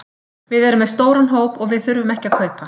Við erum með stóran hóp og við þurfum ekki að kaupa.